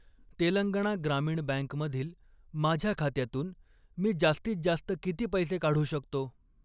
Telangana Grameena bank मधील माझ्या खात्यातून मी जास्तीत जास्त किती पैसे काढू शकतो?